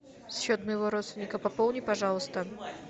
счет моего родственника пополни пожалуйста